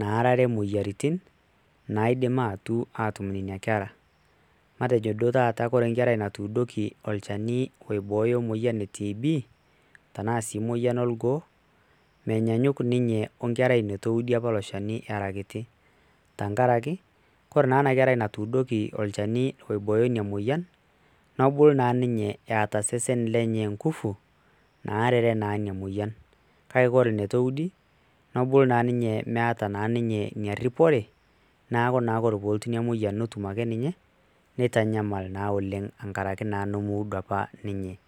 naarare imoyiaritin, naaidim aatu aatumore nena kera, matejo duoo taata ore enkerai natuudoki olchani oibooyo emoyian e tb,tenaa sii moyian orgoo, menyaanyuk ninye we nkerai neitu eudi apa ilo shani era kiti tenkaraki, ore naa ena kerai natuudoki olchani oiboyo ina moyian, negol naa ninye eta osesen lenye inkufu. naarare naa ina moyian. kake ore eneitu eudi. nebau naa ninye meeta inaripore, neeku ore pee elotu ina moyian netum ake ninye. neitanyamal naa oleng' tenkaraki naa nemeudo apa ninye.